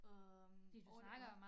Øh 8 år